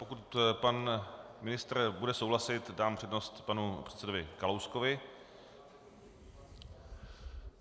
Pokud pan ministr bude souhlasit, dám přednost panu předsedovi Kalouskovi.